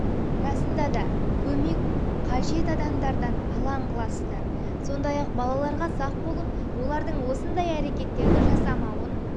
расында да көмек қажет адамдардан алаң қыласыздар сондай-ақ балаларыңызға сақ болып олардың осындай әрекеттерді жасамауын